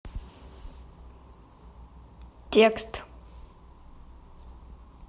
текст